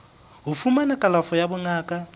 ho fumana kalafo ya bongaka